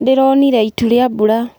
Ndĩronire itu rĩa mbura.